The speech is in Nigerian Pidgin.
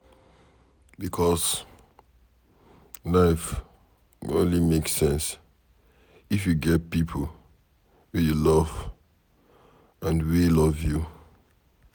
Becos life go only make sense if you get pipo wey you love and wey love you